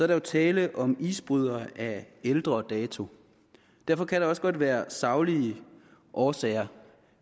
der jo tale om isbrydere af ældre dato derfor kan der også godt være saglige årsager